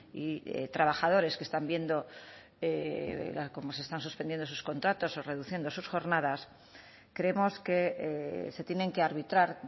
y trabajadores que están viendo cómo se están suspendiendo sus contratos o reduciendo sus jornadas creemos que se tienen que arbitrar